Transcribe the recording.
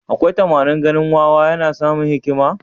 Akwai tamanin ganin wawa yana samun hikima?